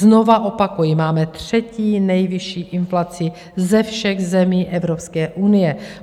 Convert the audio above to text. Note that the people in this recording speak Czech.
Znovu opakuji, máme třetí nejvyšší inflaci ze všech zemí Evropské unie.